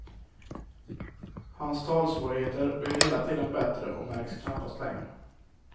Hans talsvårigheter blir hela tiden bättre och märks knappast längre.